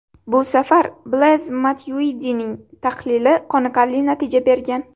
Bu safar Blez Matyuidining tahlili qoniqarli natija bergan.